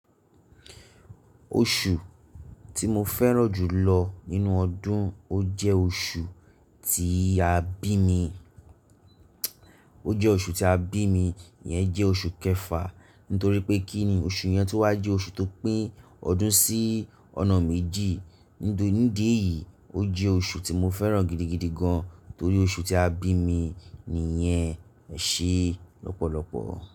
Oṣù tí mo fẹ́ràn jù lọ nínú ọdún, o jẹ́ oṣù tí a bí mi, o jẹ́ oṣù tí a bí mi, ìyẹn jẹ́ oṣù kẹfà. Nítorí pé kíni oṣù yẹn tó wá jẹ́ oṣù tó pín ọdún sí ọ̀nà méjì. Ní ìdí eyìí, o jẹ́ oṣù tí mo fẹ́ràn gidigidi gan-an torí oṣù tí a bí mi ni yen ẹ ṣe lọ́pọ̀lọ́pọ̀